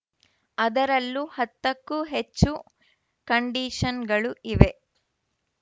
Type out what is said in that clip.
ಅದರಲ್ಲೂ ಹತ್ತಕ್ಕೂ ಹೆಚ್ಚು ಕಂಡೀಷನ್‌ಗಳು ಇವೆ